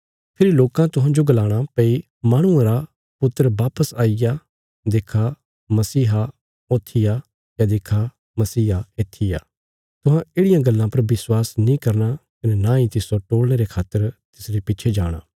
फेरी लोकां तुहांजो गलाणा भई माहणुआ रा पुत्र वापस आईग्या देक्खा मसीहा ऊथी आ या देक्खा मसीहा येत्थी आ तुहां येढ़ियां गल्लां पर विश्वास नीं करना कने नांई तिस्सो टोल़णे रे खातर तिसरे पिच्छे जाणा